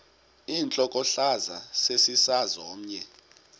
intlokohlaza sesisaz omny